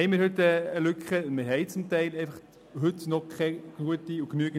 Hier besteht heute noch eine Lücke.